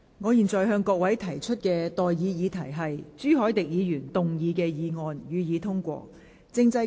我現在向各位提出的待議議題是：朱凱廸議員動議的議案，予以通過。